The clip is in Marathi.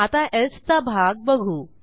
आता एल्से चा भाग बघू